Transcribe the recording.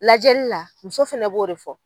Lajɛli la muso fana b'o de fɔ.